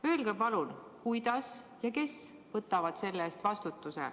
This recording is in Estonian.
Öelge palun, kuidas ja kes võtavad selle eest vastutuse.